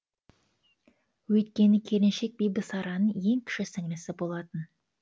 өйткені келіншек бибісараның ең кіші сіңлісі болатын